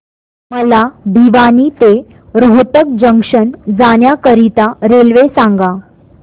मला भिवानी ते रोहतक जंक्शन जाण्या करीता रेल्वे सांगा